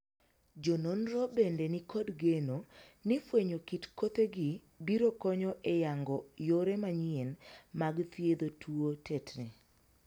Jo nonro bende ni kod geno ni fwenyo kit kothe gi biro konyo e yango yore manyien mag thiedho tuo tetni.